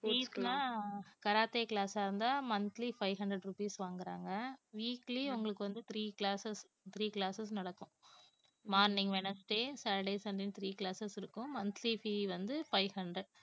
fees னா karate class ஆ இருந்தா monthly five hundred rupees வாங்கறாங்க weekly உங்களுக்கு வந்து three classes three classes நடக்கும் morning wednesday, saturday, sunday ன்னு three classes இருக்கும் monthly fee வந்து five hundred